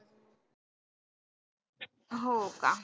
हो का?